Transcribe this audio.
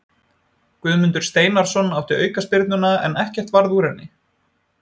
Guðmundur Steinarsson átti aukaspyrnuna en ekkert varð úr henni.